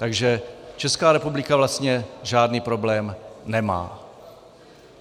Takže Česká republika vlastně žádný problém nemá.